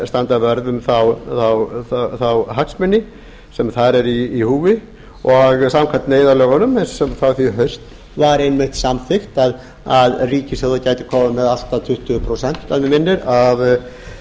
standa vörð um þá hagsmuni sem þar eru í húfi samkvæmt neyðarlögunum frá því í haust var einmitt samþykkt að ríkissjóður gæti komið með allt að tuttugu prósent að mig minnir